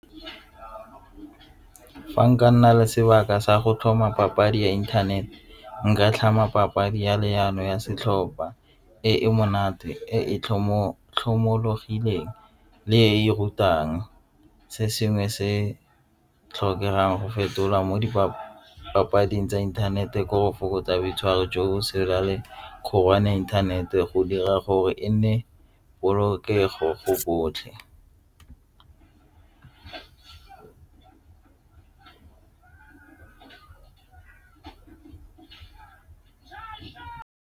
Fa nka nna le sebaka sa go tlhoma papadi ya inthanete nka tlhama papadi ya leano ya setlhopha e monate e tlhomo tlhomologileng le e rutang se sengwe se tlhokegang go fetolwa mo di papading tsa inthanete ko go fokotsa boitshwaro jo internet-e go dira gore e nne polokego go botlhe.